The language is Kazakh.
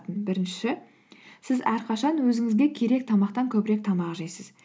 бірінші сіз әрқашан өзіңізге керек тамақтан көбірек тамақ жейсіз